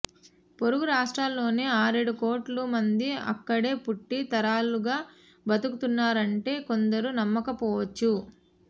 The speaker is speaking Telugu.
పొరుగు రాష్ట్రాల్లోనే ఆరేడు కోట్ల మంది అక్కడే పుట్టి తరాలుగా బతుకుతున్నారంటే కొందరు నమ్మకపోవచ్చు